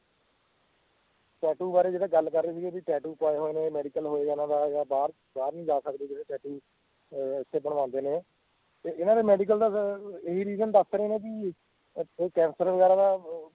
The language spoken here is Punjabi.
tattoo ਬਾਰੇ ਜਿਦਾਂ ਗੱਲ ਕਰ ਰਹੇ ਸੀਗੇ ਬੀ tattoo ਤਾਂ ਜਾਂ medical ਵਗੈਰਾ ਦਾ ਜਾਂ ਬਾਹਰ ਨੀ ਜਾ ਸਕਦੇ ਜਿਹੜੇ tattoo ਅਹ ਇਥ੍ਹੇ ਬਣਵਾਉਂਦੇ ਨੇ ਤੇ ਇਹਨਾਂ ਦੇ medical ਦਾ ਇਹੀ reason ਦਸ ਰਹੇ ਆ ਨਾ ਬਈ